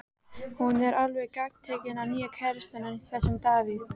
Hún er alveg gagntekin af nýja kærastanum, þessum Davíð.